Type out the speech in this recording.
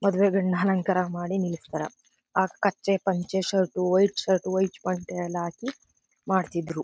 ಮದುವೆ ಗಂಡನ ಅಲಂಕಾರ ಮಾಡಿ ನಿಲ್ಸ್ತಾರ ಆ ಕಚ್ಚೇ ಪಂಚೆ ಶರ್ಟ್ ವೈಟ್ ಶರ್ಟ್ ವೈಟ್ ಪಂಚೆ ಎಲ್ಲ ಹಾಕಿ ಮಾಡ್ತಿದ್ರು.